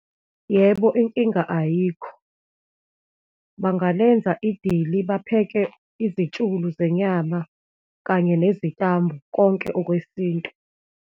Yebo, inkinga ayikho, bangalenza idili, bapheke izitshulu zenyama, kanye nezitambu, konke okwesintu.